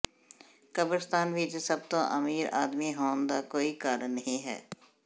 ਕਬਰਸਤਾਨ ਵਿਚ ਸਭ ਤੋਂ ਅਮੀਰ ਆਦਮੀ ਹੋਣ ਦਾ ਕੋਈ ਕਾਰਨ ਨਹੀਂ ਹੈ